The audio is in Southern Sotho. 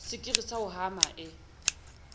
sekiri sa ho hama e